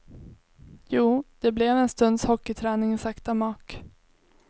Jo, det blev en stunds hockeyträning i sakta mak.